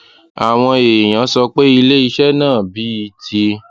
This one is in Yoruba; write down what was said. àwọn èèyàn sọ pé ilé iṣẹ náà bíi ti